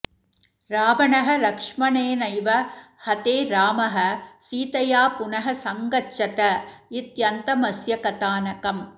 रावणः लक्ष्मणेनैव हते रामः सीतया पुनः संगच्छत इत्यन्तमस्य कथानकम्